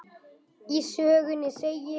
Í sögunni segir: